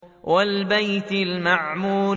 وَالْبَيْتِ الْمَعْمُورِ